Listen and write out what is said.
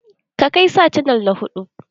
Ka kai sa canal na huɗu.